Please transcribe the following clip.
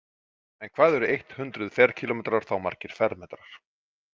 En hvað eru eitt hundruð ferkílómetrar þá margir fermetrar?